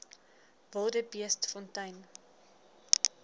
wildebeestfontein